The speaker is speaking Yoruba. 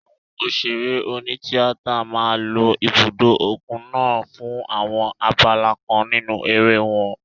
Àwọn òṣèré oní tíátà máa lo ibùdó òkun naa fún àwọn abala kan nínú eré wọn.